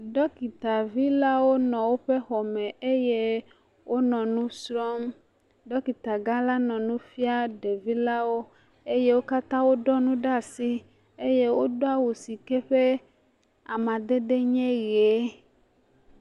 Dɔkitavilawo le woƒe xɔme eye wonɔ nu srɔ̃m, dɔkita gã aɖe le nu fiam ɖevilawo eye wo katã woɖɔ nu ɖe asi eye wodo awu si ke eƒe amadede nye ʋe.